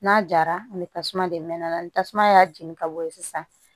N'a jara ani tasuma de mɛna ni tasuma y'a jeni ka bɔ ye sisan